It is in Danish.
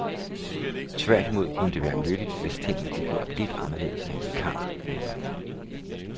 Tværtimod kunne det være nyttigt, hvis tingene blev gjort lidt anderledes af en vikar, mener hun.